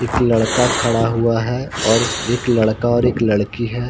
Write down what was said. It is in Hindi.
एक लडक खड़ा हुआ है और एक लड़का और एक लड़की हैं।